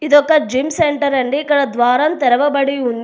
ఇదొక gym centre అండి ఇక్కడ ద్వారాల్ తెరవబడి ఉన్--